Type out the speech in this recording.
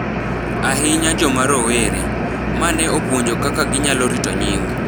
ahinya joma rowere, ma ne opuonjo kaka ginyalo rito nying’